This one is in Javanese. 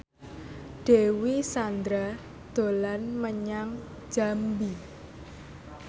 Dewi Sandra dolan menyang Jambi